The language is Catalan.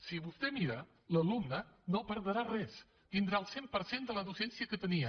si vostè ho mira l’alumne no perdrà res tindrà el cent per cent de la docència que tenia